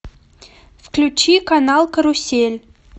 включи канал карусель